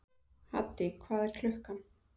Haddý, hvað er klukkan?